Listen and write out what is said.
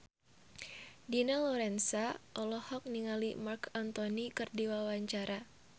Dina Lorenza olohok ningali Marc Anthony keur diwawancara